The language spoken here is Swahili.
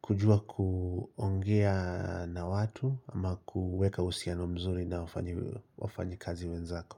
kujua kuongea na watu ama kuweka usiano mzuri na wafanyi kazi wenzako.